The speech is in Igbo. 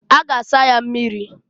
A ga asa ya mmirir.